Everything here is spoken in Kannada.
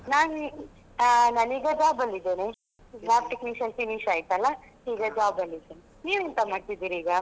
ನಾನು ಈ ಆ ನಾನು ಈಗ job ಅಲ್ಲಿದ್ದೇನೆ lab technician finish ಆಯ್ತಲ್ಲಾ ಈಗ job ಅಲ್ಲಿ ಇದ್ದೇನೆ. ನೀವು ಎಂತ ಮಾಡ್ತಿದ್ದೀರಿ ಈಗ?